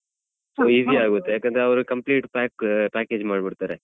So easy ಆಗತ್ತೆ ಯಾಕಂದ್ರೆ ಅವ್ರು complete pack~ package ಮಾಡ್ಬಿಡ್ತಾರೆ.